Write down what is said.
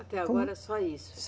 Até agora só isso.